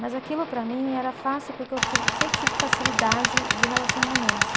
Mas aquilo para mim era fácil porque eu tive, sempre tive facilidade de relacionamentos.